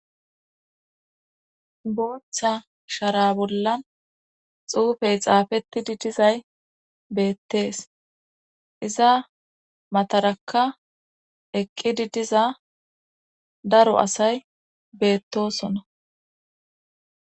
booththa shara bollan xuufey xaafettidi dizay beettees iza mataraka eqqidi diza daro asay beettosona